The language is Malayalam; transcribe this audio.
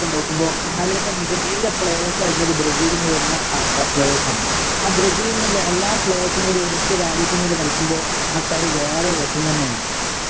ഒക്കെ നോക്കുമ്പോ അതിലത്തെ മികച്ച പ്ലേയർസ് ആയിട്ടുള്ളത് ബ്രസീലിന്നു വരുന്ന ആൾക്ക് പ്ലേയർസ് ആണ് ആ ബ്രസീലിന്റെ എല്ലാ പ്ലേയർസ് കൂടെ ഒരൊറ്റ രാജ്യത്തിന് വേണ്ടി കളിക്കുമ്പോ ആ കളി വേറെ ഒരു രസം തന്നെയാ ഇപ്പോ